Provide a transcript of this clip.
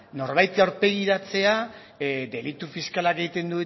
norbaiti aurpegiratzea delitu fiskalak egiten